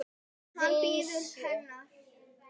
Hann bíður hennar.